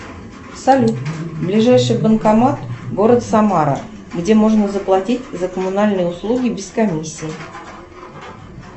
салют ближайший банкомат город самара где можно заплатить за коммунальные услуги без комиссии